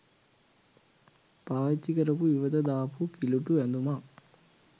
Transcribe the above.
පාවිච්චි කරපු ඉවත දාපු කිලූටු ඇඳුමක්